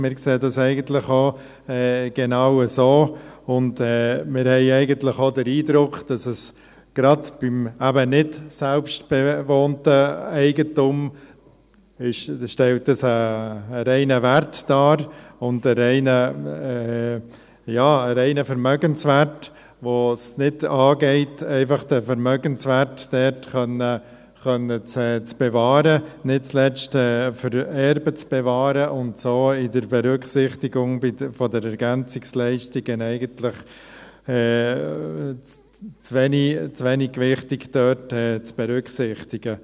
Wir sehen dies genauso und haben eigentlich auch den Eindruck, dass es gerade beim nichtselbstbewohnten Eigentum einen reinen Wert darstellt – ja, einen reinen Vermögenswert, obwohl es nicht angeht, den Vermögenswert dort bewahren zu können, nicht zuletzt für die Erben, weil er so bei der EL eigentlich zu wenig gewichtig berücksichtigt wird.